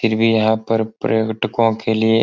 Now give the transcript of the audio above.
फिर भी यहाँ पर पर्यटकों के लिए --